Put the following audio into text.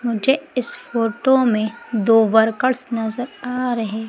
मुझे इस फोटो में दो वर्कर्स नजर आ रहे--